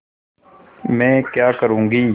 मैं क्या करूँगी